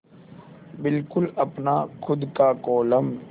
बिल्कुल अपना खु़द का कोलम